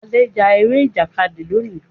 Ade já Eré Ìjàkadì lóni.